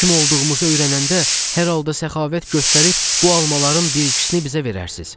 Kim olduğumuzu öyrənəndə, hər halda səxavət göstərib bu almaların bir ikisini bizə verərsiniz.